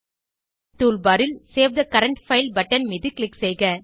toolbar ல் save the current file பட்டனை click செய்க